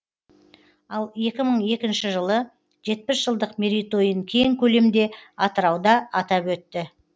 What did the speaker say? ал екі мың екінші жылы жетпіс жылдық мерейтойын кең көлемде атырауда атап өтті